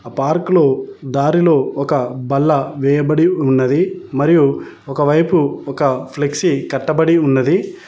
ఆ పార్క్ లో దారిలో ఒక బల్ల వేయబడి ఉన్నది మరియు ఒక వైపు ఒక ఫ్లెక్సీ కట్టబడి ఉన్నది.